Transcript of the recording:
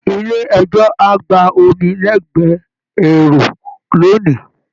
Ilé ẹjọ́ á gba omi lẹgbẹ èrò lónìí